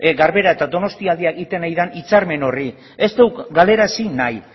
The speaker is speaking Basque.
garbera eta donostialdea egiten ari den hitzarmen horri ez dugu galarazi nahi